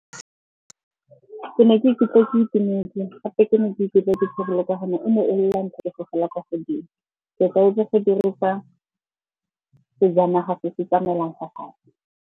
Ke ne ka ikutlwa ke itumetse gape ke ne ke ikutlwa ke thabile ka gonne e ne e le la ntlha ke fofela kwa godimo. Ke tlwaetse go dirisa sejanaga se se tsamaelang fa fatshe.